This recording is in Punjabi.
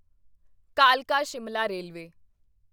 ਕਾਲਕਾ ਸ਼ਿਮਲਾ ਰੇਲਵੇ